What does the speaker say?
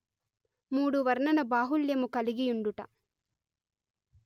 మూడు వర్ణన బాహుళ్యము కలిగియుండుట